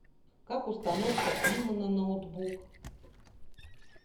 как установка имо на ноутбук